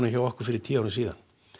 hjá okkur fyrir tíu árum síðan